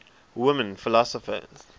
women philosophers